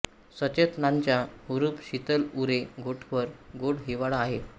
सचेतनांचा हुरूप शीतल उरे घोटभर गोड हिवाळा आहे